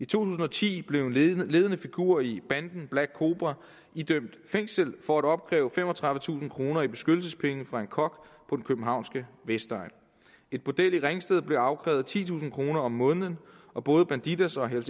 tusind og ti blev en ledende figur i banden black cobra idømt fængsel for at opkræve femogtredivetusind kroner i beskyttelsespenge fra en kok på den københavnske vestegn et bordel i ringsted blev afkrævet titusind kroner om måneden og både bandidos og hells